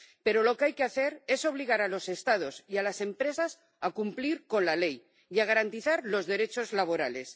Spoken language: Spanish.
Pero lo que hay que hacer es obligar a los Estados y a las empresas a cumplir la ley y a garantizar los derechos laborales.